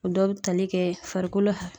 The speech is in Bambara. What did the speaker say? O dɔ bi tali kɛ farikolo